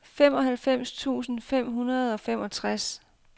femoghalvfems tusind fem hundrede og femogtres